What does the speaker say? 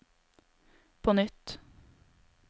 på nytt